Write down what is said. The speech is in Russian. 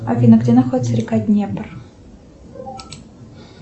афина где находится река днепр